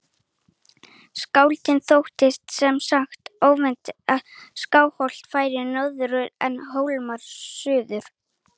Skáldinu þótti sem sagt óviðeigandi að Skálholt færi norður en Hólar suður.